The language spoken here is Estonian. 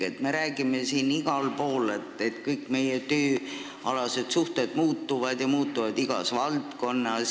Samas me räägime igal pool, et kõik tööalased suhted muutuvad, ja seda igas valdkonnas.